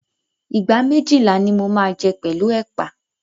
ìgbá méjìlá ni mo máa jẹ́ pẹ̀lú ẹ̀pà.